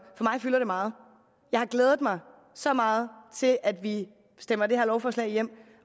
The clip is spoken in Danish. mig fylder det meget jeg har glædet mig så meget til at vi stemmer det her lovforslag hjem